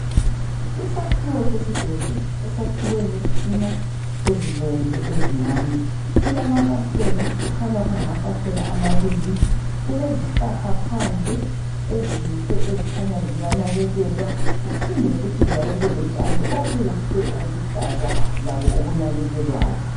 Isakhiwo sesibhedlela esiyakhiwe ngezitina ezibomvu ezincane . Silamafasitela, kukhanya kungamafasitela amabili. Kulezihlahla phandle ezinhle, kukhanya ziyanakekelwa . Kuphinde futhi njalo kube lotshani obuhle obuluhlaza labo obunakekelwayo.